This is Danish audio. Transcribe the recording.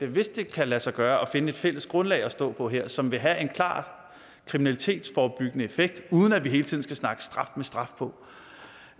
hvis det kan lade sig gøre at finde et fælles grundlag at stå på her som vil have en klart kriminalitetsforebyggende effekt uden at vi hele tiden skal snakke straf med straf på